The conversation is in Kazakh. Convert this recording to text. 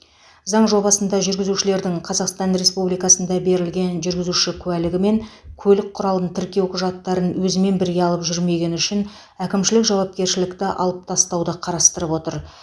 заң жобасында жүргізушілердің қазақстан республикасында берілген жүргізуші куәлігі мен көлік құралын тіркеу құжаттарын өзімен бірге алып жүрмегені үшін әкімшілік жауапкершілікті алып тастауды қарастырып отыр